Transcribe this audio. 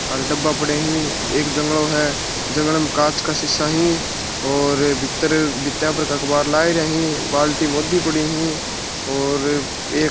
आड़ डबा पड़ा ही एक जंगलों है जंगल में कांच का शीशा ही और भीतर भीता पर के अखबार लाग रा ही बाल्टी मोदी पड़ी ही और एक --